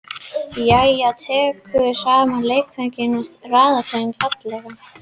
Mæja tekur saman leikföngin og raðar þeim fallega.